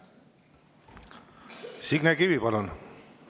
Signe Kivi, palun!